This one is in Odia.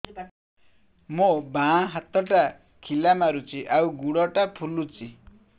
ମୋ ବାଆଁ ହାତଟା ଖିଲା ମାରୁଚି ଆଉ ଗୁଡ଼ ଟା ଫୁଲୁଚି